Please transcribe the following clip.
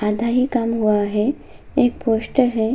आधा ही काम हुआ है एक पोस्टर है।